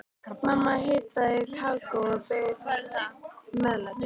Mamma hitaði kakó og bauð meðlæti.